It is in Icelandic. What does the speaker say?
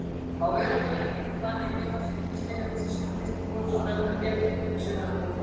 Á veraldarvefnum fann ég heimasíðu gistiheimilisins Kirkjubóls á Ströndum, rétt sunnan við Hólmavík.